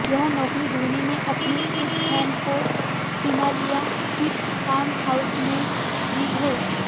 यह नौकरी धोनी ने अपने इस फैन को सिमालिया स्थित फार्म हाउस में दी है